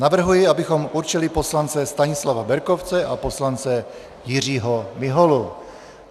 Navrhuji, abychom určili poslance Stanislava Berkovce a poslance Jiřího Miholu.